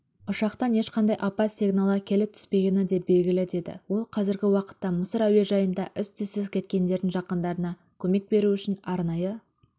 ұшақтан ешқандай апат сигналы келіп түспегені де белгілі деді ол қазіргі уақытта мысыр әуежайында із-түзсіз кеткендердің жақындарына көмек беру үшін арнайы